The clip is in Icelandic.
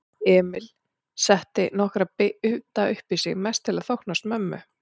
Emil setti nokkra bita uppí sig, mest til að þóknast mömmu.